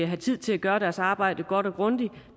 have tid til at gøre deres arbejde godt og grundigt